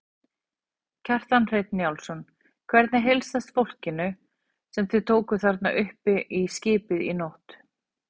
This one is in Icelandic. Kjartan Hreinn Njálsson: Hvernig heilsast fólkinu sem þið tókuð þarna upp í skipið í nótt?